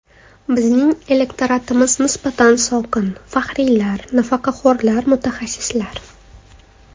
Bizning elektoratimiz nisbatan sokin: faxriylar, pensionerlar, mutaxassislar.